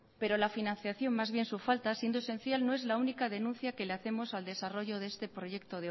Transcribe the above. pero la financiación más bien su falta siendo esencial no es la única denuncia que le hacemos al desarrollo de este proyecto